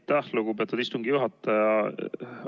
Aitäh, lugupeetud istungi juhataja!